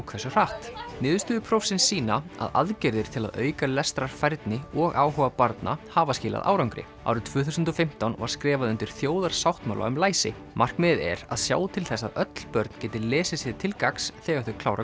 hversu hratt niðurstöður prófsins sýna að aðgerðir til að auka lestrarfærni og áhuga barna hafa skilað árangri árið tvö þúsund og fimmtán var skrifað undir þjóðarsáttmála um læsi markmiðið er að sjá til þess að öll börn geti lesið sér til gagns þegar þau klára